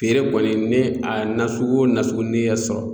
Feere kɔni ni a nasugu o nasugu ni y'a sɔrɔ.